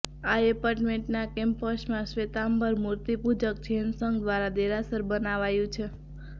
આ એપાર્ટમેન્ટના કેમ્પસમાં શ્વેતાંબર ર્મૂિતપૂજક જૈન સંઘ દ્વારા દેરાસર બનાવાયું છે